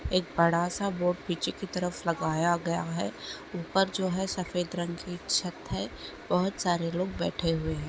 एक बड़ा सा बोर्ड पीछे की तरफ लगाया गया है ऊपर जो है सफेद रंग की छत है बहुत सारे लोग बैठे हुए हैं।